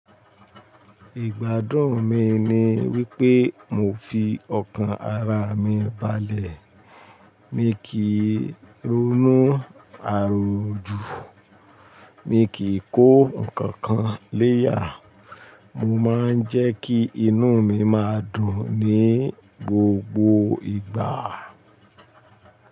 Ìgbádùn mi ni wípé mo fi ọkàn ara mi balẹ̀. Mi kì í ronú àròjú. Mi kì í kó ǹkankan léyà. Mo má ń jẹ́ kí inú mi má dùn ní gbogbo ìgbà.